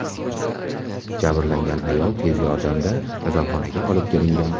Jabrlangan ayol tez yordamda kasalxonaga olib kelingan.